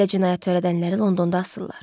Belə cinayət törədənləri Londonda asırlar.